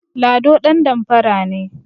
Lado ɗandamfara ne